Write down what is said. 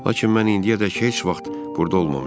Lakin mən indiyədək heç vaxt burda olmamışam.